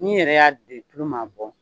N yɛrɛ y'a bilen tulu m'a bɔ.